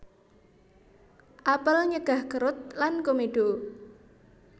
Apel nyegah kerut lan komedo